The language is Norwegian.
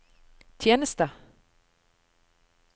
tjeneste